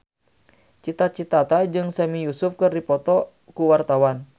Cita Citata jeung Sami Yusuf keur dipoto ku wartawan